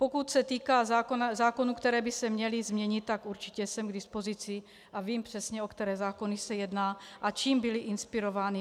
Pokud se týká zákonů, které by se měly změnit, tak určitě jsem k dispozici a vím přesně, o které zákony se jedná a čím byly inspirovány.